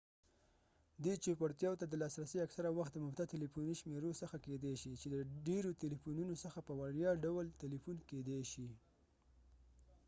دې چوپړتیاوو ته د لاسرسی اکثره وخت د مفته تلیفوني شمیرې څخه کیدای شي چې د ډیرو تلیفونونو څخه په وړیا ډول تلیفون کیدای شي